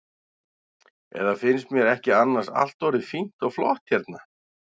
Eða finnst mér ekki annars allt orðið fínt og flott hérna?